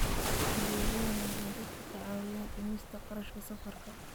Adeegyadani waxay dadka ka caawiyaan dhimista kharashka safarka.